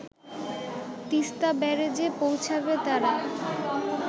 তিস্তা ব্যারেজে পৌঁছাবে তারা